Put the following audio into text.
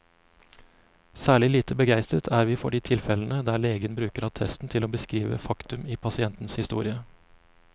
Særlig lite begeistret er vi for de tilfellene der legen bruker attesten til å beskrive faktum i pasientens historie.